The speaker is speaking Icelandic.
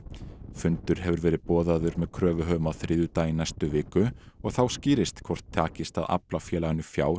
fundur hefur verið boðaður með kröfuhöfum á þriðjudag í næstu viku og þá skýrist hvort takist að afla félaginu fjár